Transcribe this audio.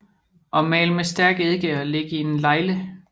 Og mal med stærk eddike og læg i en legle